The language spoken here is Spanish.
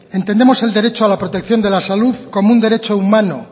entendemos el derecho a la protección de la salud como un derecho humano